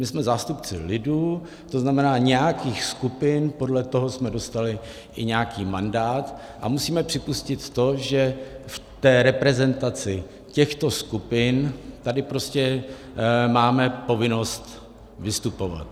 My jsme zástupci lidu, to znamená nějakých skupin, podle toho jsme dostali i nějaký mandát a musíme připustit to, že v té reprezentaci těchto skupin tady prostě máme povinnost vystupovat.